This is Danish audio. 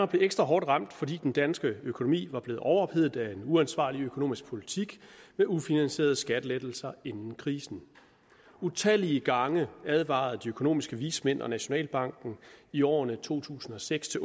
blev ekstra hårdt ramt fordi den danske økonomi var blevet overophedet af en uansvarlig økonomisk politik med ufinansierede skattelettelser inden krisen utallige gange advarede de økonomiske vismænd og nationalbanken i årene to tusind og seks til